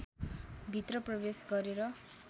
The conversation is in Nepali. भित्र प्रवेश गरेर